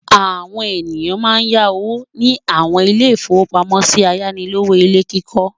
Àwọn ènìyàn máa ń yá owó ní àwọn ilé-ìfowópamọ́sí ayánilówó ilé kíkọ́.